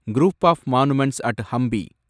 group of monuments at Hampi